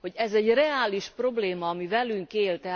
Ez egy reális probléma, ami velünk él.